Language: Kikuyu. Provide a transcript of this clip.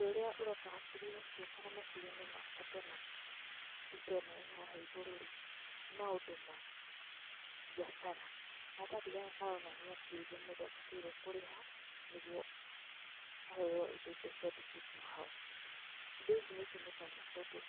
Ũndũ ũrĩa ũroka hakiri-inĩ ciakwa na meciria-inĩ makwa ndona mbica ĩno ĩhaha igũrũ-rĩ nĩ maũndũ ma mbiacara. Karatathi gaka karonania mbia iria mũndũ abataire kũrĩha nĩguo aheo indo ico ciandĩkĩtwo hau. Indo ici nĩ itũmĩkaga kũndũ,